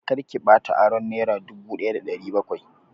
Kar ki bata aron nera dubu daya da ɗari bakwai!